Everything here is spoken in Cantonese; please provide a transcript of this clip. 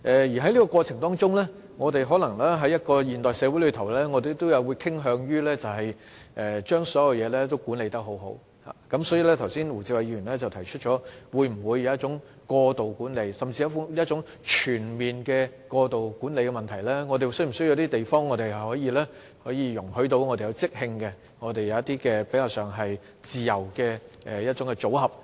而在這過程中，我們身處的現代社會可能會傾向把所有事情管理妥當，所以胡志偉議員剛才提出，我們會否出現一種過度管理甚至是全面過度管理的問題，我們是否需要地方讓我們進行即興活動及比較自由的組合安排呢？